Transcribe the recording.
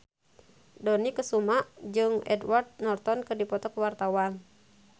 Dony Kesuma jeung Edward Norton keur dipoto ku wartawan